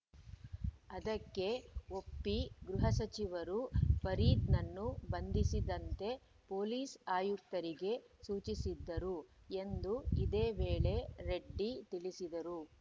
ಅದಕ್ಕೆ ಒಪ್ಪಿ ಗೃಹ ಸಚಿವರು ಫರೀದ್‌ನನ್ನು ಬಂಧಿಸದಂತೆ ಪೊಲೀಸ್‌ ಆಯುಕ್ತರಿಗೆ ಸೂಚಿಸಿದ್ದರು ಎಂದು ಇದೇ ವೇಳೆ ರೆಡ್ಡಿ ತಿಳಿಸಿದರು